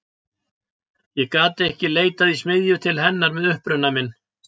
Ég gat ekki leitað í smiðju til hennar með uppruna minn.